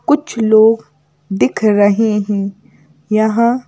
कुछ लोग दिख रहे हैं यहां--